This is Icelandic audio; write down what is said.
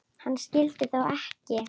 Hann skyldi þó ekki.